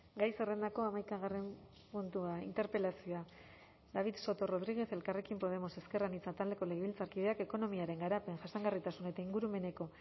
gai zerrendako hamaikagarren puntua interpelazioa david soto rodríguez elkarrekin podemos ezker anitza taldeko legebiltzarkideak ekonomiaren garapen jasangarritasun eta ingurumeneko